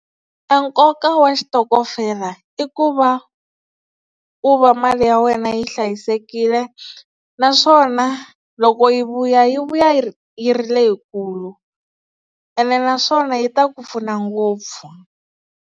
A nkoka wa xitokofela i ku va u va mali ya wena yi hlayisekile naswona loko yi vuya yi vuya yi yi ri leyikulu ene naswona yi ta ku pfuna ngopfu.